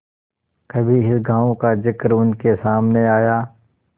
कभी इस गॉँव का जिक्र उनके सामने आया